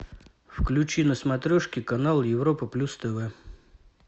включи на смотрешке канал европа плюс тв